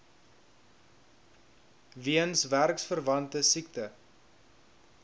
weens werksverwante siekte